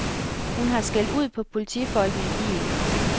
Hun har skældt ud på politifolkene i bilen.